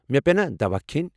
مےٚ پیٚنا دواہ کھٮ۪نۍ؟